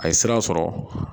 A ye sira sɔrɔ